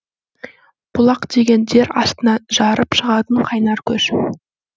бұлақ деген жер астынан жарып шығатын қайнар көз